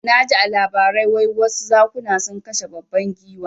Naji a labarai wai wasu zakuna sun kashe babban giwa